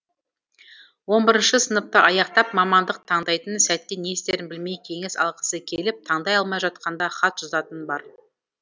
онбірінші сыныпты аяқтап мамандық таңдайтын сәтте не істерін білмей кеңес алғысы келіп таңдай алмай жатқанда хат жазатыны бар